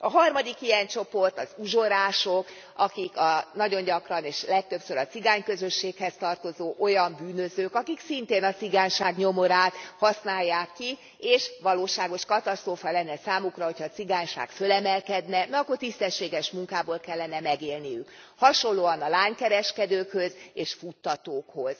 A harmadik ilyen csoport az uzsorások, akik nagyon gyakran, és legtöbbször a cigány közösséghez tartozó olyan bűnözők, akik szintén a cigányság nyomorát használják ki, és valóságos katasztrófa lenne számukra, hogyha a cigányság fölemelkedne, mert akkor tisztességes munkából kellene megélniük, hasonlóan a lánykereskedőkhöz és futtatókhoz.